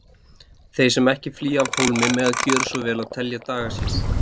Þeir sem ekki flýja af hólmi mega gjöra svo vel að telja daga sína.